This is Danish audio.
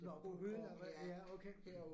Nåh på hylden eller hvad? Ja okay